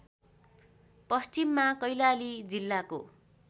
पश्चिममा कैलाली जिल्लाको